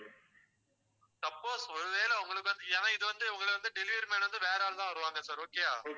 suppose ஒருவேளை உங்களுக்கு வந்து ஏன்னா இது வந்து உங்களை வந்து delivery man வந்து வேற ஆள்தான் வருவாங்க sir okay ஆ